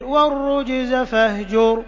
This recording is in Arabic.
وَالرُّجْزَ فَاهْجُرْ